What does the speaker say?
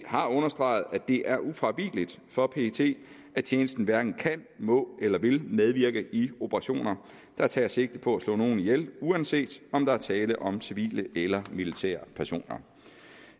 har understreget at det er ufravigeligt for pet at tjenesten hverken kan må eller vil medvirke i operationer der tager sigte på slå nogen ihjel uanset om der er tale om civile eller militære personer